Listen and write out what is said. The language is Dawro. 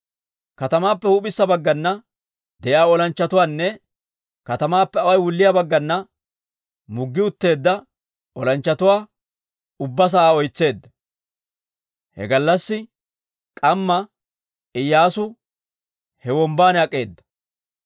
Katamaappe huup'issa baggana de'iyaa olanchchatuwaanne katamaappe away wulliyaa baggana muggi utteedda olanchchatuwaa ubbaa sa'aa oytseedda. He gallassi k'amma Iyyaasu he wombban ak'eeda.